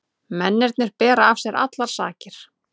Mennirnir bera af sér allar sakir